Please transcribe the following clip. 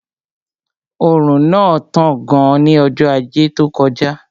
Òrùn náà tán gan ní ọjọ́ ajé tó kọjá